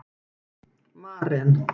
Maren